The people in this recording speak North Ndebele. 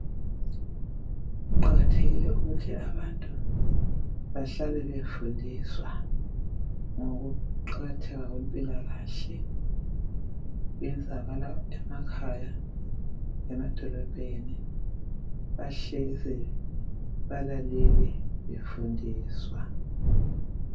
Kuqakathekile ukuthi abantu bahlale befundiswa ngokuqakatheka kwempilakahle. Kwenzakala emakhaya lemadolobheni, bahlezi balalele befundiswa.